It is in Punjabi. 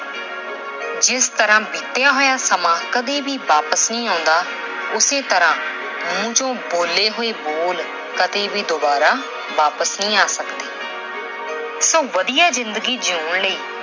ਜਿਸ ਤਰ੍ਹਾਂ ਬੀਤੀਆ ਸਮਾਂ ਕਦੇ ਵਾਪਸ ਨਹੀਂ ਆਉਂਦਾ, ਉਸੇ ਤਰ੍ਹਾਂ ਮੂੰਹ ਚੋਂ ਬੋਲੇ ਹੋਏ ਬੋਲ ਕਦੇ ਵੀ ਦੁਬਾਰਾ ਵਾਪਸ ਨਹੀਂ ਆ ਸਕਦੇ। so ਵਧੀਆ ਜ਼ਿੰਦਗੀ ਜੀਉਣ ਲਈ